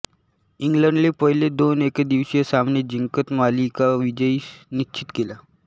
इंग्लंडने पहिले दोन एकदिवसीय सामने जिंकत मालिकाविजय निश्चित केला